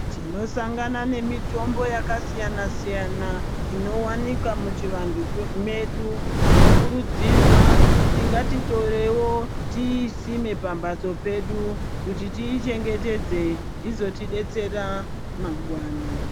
Tinosangana nemitombo yakasiyana-siyana inowanikwa muchivantu medu, tinokurudzirwa kuti ngatitorewo tiisime pamhatso pedu kuti tiichengetedze, izotidetsera mangwani.